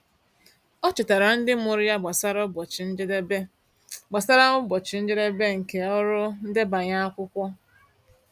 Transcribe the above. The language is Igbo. Ọ chetaara ndị mụrụ ya gbasara ụbọchị njedebe gbasara ụbọchị njedebe nke ọrụ ndebanye akwụkwọ.